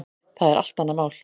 Það er allt annað mál.